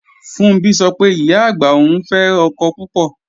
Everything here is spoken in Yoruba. Funbí sọ pé, Ìyá-àgbà òun fẹ́ ọkọ púpọ̀